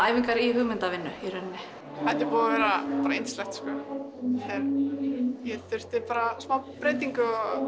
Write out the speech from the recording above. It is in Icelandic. æfingar í hugmyndavinnu í rauninni þetta er búið að vera bara yndislegt ég þurfti bara smá breytingu og